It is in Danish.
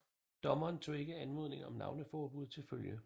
Dommeren tog ikke anmodningen om navneforbud til følge